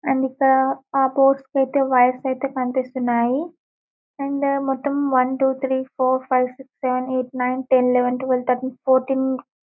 and ఇక్కడ ఆ ఐతే వైర్ ఐతే కనిపిస్తున్నాయి అండ్ మొత్తం one two three four five six seven eight nine ten eleven twelve thirteen fourteen --